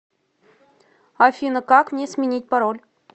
афина как мне сменить пароль